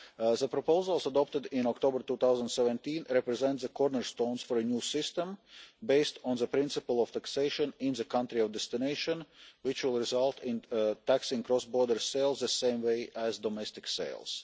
The proposals adopted in October 2017 represent the cornerstone for a new system, based on the principle of taxation in the country of destination, which will result in taxing cross-border sales the same way as domestic sales.